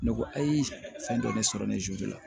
Ne ko ayi fɛn dɔ de sɔrɔ ne la